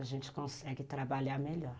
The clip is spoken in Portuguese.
A gente consegue trabalhar melhor.